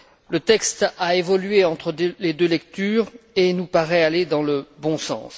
Le texte a évolué entre les deux lectures et il nous paraît aller dans le bon sens.